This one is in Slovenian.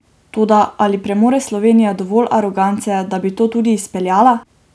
Toda ali premore Slovenija dovolj arogance, da bi to tudi izpeljala?